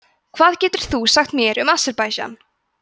hvað getur þú sagt mér um aserbaídsjan